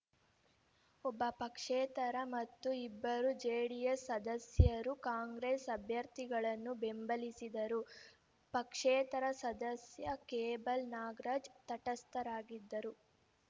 ಒಬ್ಬ ಪಕ್ಷೇತರ ಮತ್ತು ಇಬ್ಬರು ಜೆಡಿಎಸ್‌ ಸದಸ್ಯರು ಕಾಂಗ್ರೆಸ್‌ ಅಭ್ಯರ್ಥಿಗಳನ್ನು ಬೆಂಬಲಿಸಿದರು ಪಕ್ಷೇತರ ಸದಸ್ಯ ಕೇಬಲ್‌ ನಾಗರಾಜ್‌ ತಟಸ್ಥರಾಗಿದ್ದರು